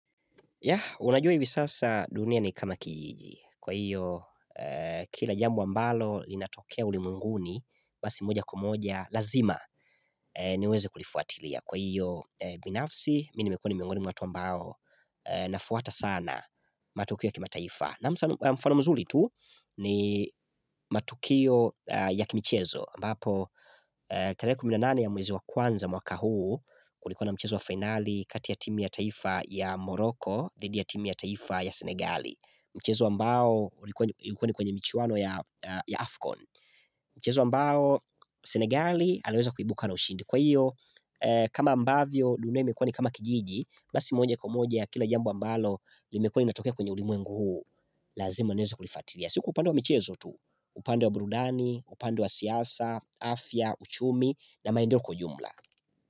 Unajua hivi sasa dunia ni kama kijiji kwa hiyo kila jambo ambalo linatokea ulimwenguni basi moja kwa moja lazima niweze kulifuatilia kwa hiyo binafsi mimi nimekua ni miongoni mwa watu ambao nafuata sana matukio ya kimataifa. Na mfano mzuri tu ni matukio ya Kimichezo ambapo tarehe kumi na nane ya mwezi wa kwanza mwaka huu julikuwa na mchezo wa finali kati ya timu ya taifa ya Moroko dhidi ya timu ya taifa ya Senegali Mchezo ambao ulikuwa ni kwenye michuano ya Afcon Mchezo ambao Senegali aliweza kuibuka na ushindi kwa hiyo kama ambavyo dunia imekua nikama kijiji basi moja kwa moja kila jambo ambalo limekua linatokea kwenye ulimwengu huu Lazima niweze kulifatilia sio kwa upande wa michezo tu upande wa burudani, upande wa siasa, afya, uchumi na maendeleo kwa ujumla.